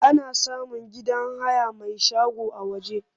Ana samun gidan haya mai shago a waje.